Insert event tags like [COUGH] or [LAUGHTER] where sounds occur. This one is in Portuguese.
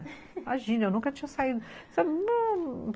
Imagina, [LAUGHS] eu nunca tinha saído.